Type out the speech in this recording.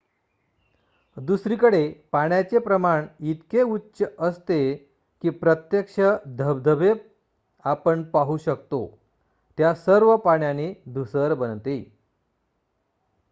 दुसरीकडे पाण्याचे प्रमाण इतके उच्च असते की प्रत्यक्ष धबधबे आपण पाहू शकतो-त्या सर्व पाण्याने धूसर बनते